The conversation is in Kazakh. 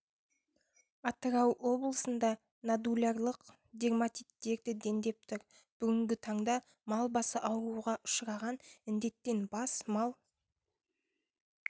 атырау облысында нодулярлық дерматит дерті дендеп тұр бүгінгі таңда мал басы ауруға ұшыраған індеттен бас мал